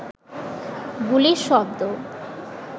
গুলির শব্দ